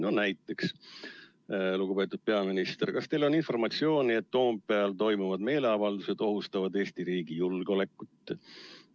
No näiteks: "Lugupeetud peaminister, kas teil on informatsiooni, et Toompeal toimuvad meeleavaldused ohustavad Eesti riigi julgeolekut?